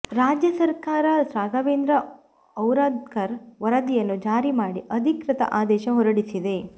ರಾಜ್ಯ ಸರ್ಕಾರ ರಾಘವೇಂದ್ರ ಔರಾದ್ಕರ್ ವರದಿಯನ್ನು ಜಾರಿ ಮಾಡಿ ಅಧಿಕೃತ ಆದೇಶ ಹೊರಡಿಸಿದೆ